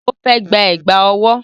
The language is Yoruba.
Ó fẹ́ gba Ẹ̀gbá ọwọ́